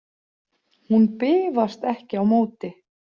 Hún bifast ekki á móti.